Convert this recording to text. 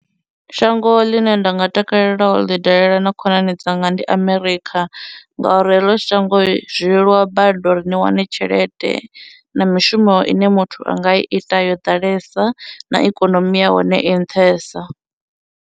Shango ḽine nda nga takalela u ḽi dalela na khonani dzanga ndi America ngauri heḽo shango zwi leluwa badi uri ni wane tshelede, na mishumo ine muthu a nga i ita yo ḓalesa, na ikonomi yahone i nṱhesa.